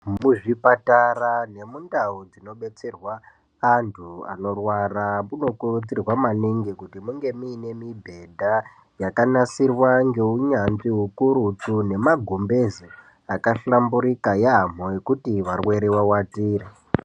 Muzvipatara nemundau dzinobetserwa antu anorwara munokurudzirwa maningi kuti munge muine mibhedha yakanasirwa ngeunyanzvi hukurutu. Nemagumbeze akahlambirika yaambo ekuti varwere vavatire.